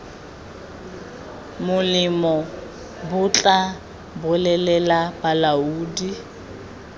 molemo bo tla bolelela balaodi